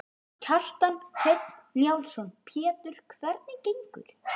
Kjartan Hreinn Njálsson: Pétur, hvernig gengur?